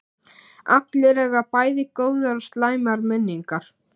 Allir eiga bæði góðar og slæmar minningar.